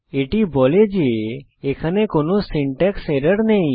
এটি বলে যে এখানে কোনো সিনট্যাক্স এরর নেই